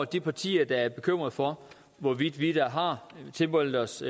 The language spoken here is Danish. de partier der er bekymrede for hvorvidt vi der har tilmeldt os